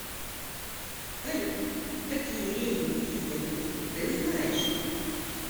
салют какие рейнский союз ты знаешь